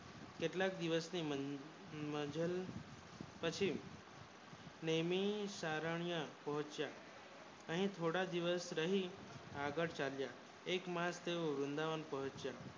કેટલા દિવસ થી મજાલ પછી મેની સારાને પોહ્ચ્યા અહીં થોડાક દિવસ રહી આગળ ચાલ્યા એક માર્ચ તે વૃંદાવન પોહ્ચ્યા